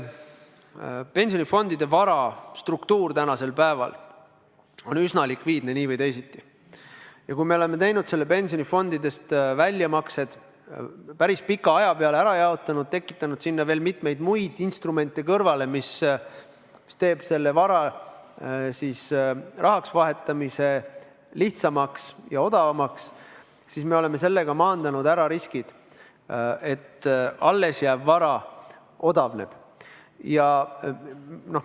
Pensionifondide vara struktuur on üsna likviidne nii või teisiti ja kui me oleme pensionifondidest väljamaksed päris pika aja peale ära jaotanud ja tekitanud sinna kõrvale veel mitmeid muid instrumente, mis teevad selle vara rahaks vahetamise lihtsamaks ja odavamaks, siis me oleme maandanud riskid, et alles jääv vara odavneb.